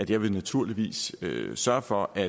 jeg naturligvis vil sørge for at